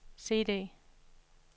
CD